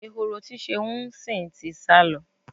Ehoro tí Ṣeun ń sìn ti sá lọ.